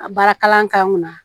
A baara kalan k'an kunna